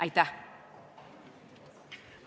Aitäh!